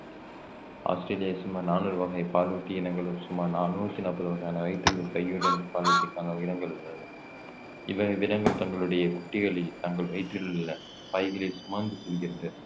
Australia சுமார் நானூறு வகை பாலூட்டி இனங்களும் சுமார் நாநூத்தி நாப்பது வகையான வயிற்றில் பையுடன் பாலூட்டிக்கான உள்ளன இவ்வகை தங்களுடைய குட்டிகளை தங்கள் வயிற்றில் உள்ள பைகளில் சுமந்து செல்கின்ற